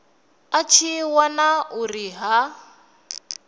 a tshi wana uri ha